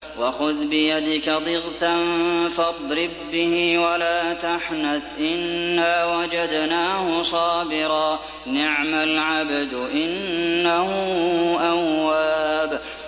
وَخُذْ بِيَدِكَ ضِغْثًا فَاضْرِب بِّهِ وَلَا تَحْنَثْ ۗ إِنَّا وَجَدْنَاهُ صَابِرًا ۚ نِّعْمَ الْعَبْدُ ۖ إِنَّهُ أَوَّابٌ